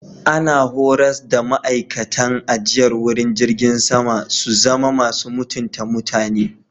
Ana horars da ma'aikacin ajiyar wuri jirgin sama su zama mutunta mutum.